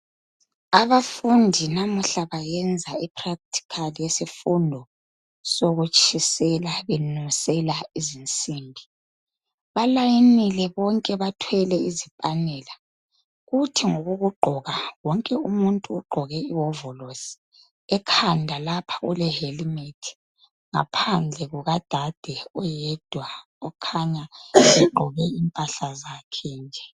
Abafundi namuhla bayenza ipractical yesifundo sokutshisela benusela izinsimbi. Balayinile bonke bathwele izipanela. Kuthi ngokokugqoka wonke umuntu ugqoke iwovolosi .Ekhanda lapha ulehelmet . Ngaphandle kuka dade oyedwa okhanya egqoke impahla zakhe nje.